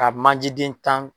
Ka manje den tan